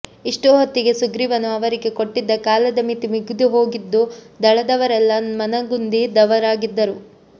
ಇಷ್ಟುಹೊತ್ತಿಗೆ ಸುಗ್ರೀವನು ಅವರಿಗೆ ಕೊಟ್ಟಿದ್ದ ಕಾಲದ ಮಿತಿ ಮುಗಿದುಹೋಗಿದ್ದು ದಳದವರೆಲ್ಲ ಮನಗುಂದಿದವರಾಗಿದ್ದರು